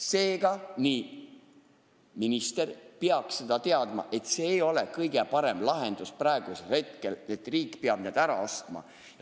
Seega, minister peaks teadma, et see ei ole kõige parem lahendus, et riik peab need ära ostma.